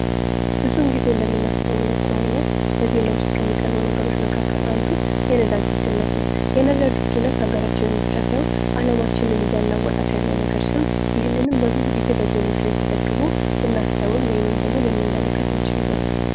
ብዙን ጊዜ እንደምናስተውለው ከሆነ በዜና ውስጥ ከሚቀርቡ ነገሮች መካከል አንዱ የነዳጅ ውድነት ነው:: የነዳጅ ውድነት ሀገራችንን ብቻ ሳይሆን አለማችንን እያናወጠ ካለ ነገር ሲሆን ይህንንም ብዙ ጊዜ በዜናዎች ላይ ተዘግቦ ለናስተውል ወይም ደግሞ ልንመለከት እንችላለን ይሆናል ::